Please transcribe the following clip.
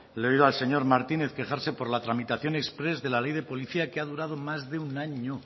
le he oído al señor martínez quejarse por la tramitación exprés de la ley de policía que ha durado más de un año